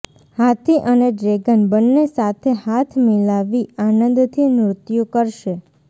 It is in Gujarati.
હાથી અને ડ્રેગન બંને સાથે હાથ મિલાવી આનંદથી નૃત્ય કરશે